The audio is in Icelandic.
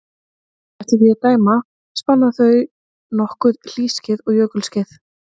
Eftir því að dæma spanna þau nokkur hlýskeið og jökulskeið.